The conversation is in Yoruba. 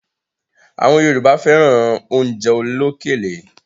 Àwọn Yorùbá fẹ́ran oúnjẹ olókèlè